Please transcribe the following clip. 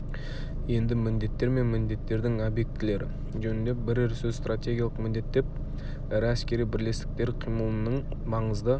енді міндеттер мен міндеттердің объектілері жөнінде бірер сөз стратегиялық міндет деп ірі әскери бірлестіктер қимылының маңызды